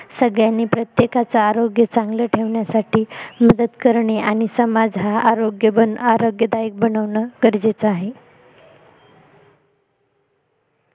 सगळ्यांनी प्रत्येकाचं आरोग्य चांगल ठेवण्यासाठी मदत करणे आणि समाज हा आरोग्यदायक बनवणं गरजेच आहे